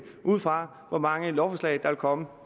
ud fra hvor mange lovforslag der vil komme